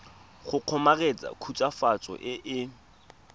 go kgomaretsa khutswafatso e e